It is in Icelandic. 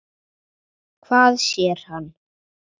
Hvað sér hann?